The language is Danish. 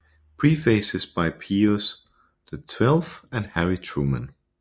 Prefaces by Pius XII and Harry Truman